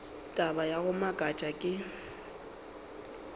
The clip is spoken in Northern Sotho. taba ya go makatša ke